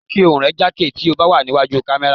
Jẹ́ kí ohùn rẹ jákè tí ó bá wà ní wájú kámẹ́rà.